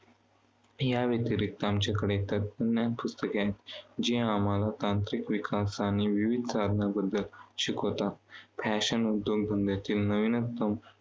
या व्यतिरिक्त आमच्याकडे तंत्रज्ञान पुस्तके आहेत, जी आम्हाला तांत्रिक विकास आणि विविध कारणांबद्दल शिकवतात. Fashion उद्योगधंद्यातील नवीनतम